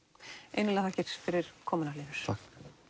innilega þakkir fyrir komuna Hlynur takk